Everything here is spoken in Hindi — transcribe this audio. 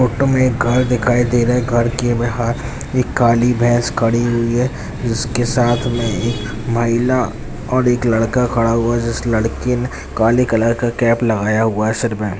फोटो में एक घर दिखाई दे रहा है घर के बाहर एक काली भैंस खड़ी हुई है जिसके साथ में एक महिला और एक लड़का खड़ा हुआ है जिस लड़के ने काले कलर का कैप लगाया हुआ है सिर में।